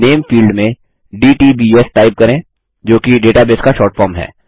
नामे field में DTBS type करें जोकि डेटाबेस का शॉर्ट फॉर्म है